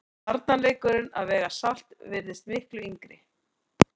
Barnaleikurinn að vega salt virðist miklu yngri.